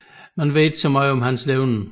Der vides ikke meget om hans levned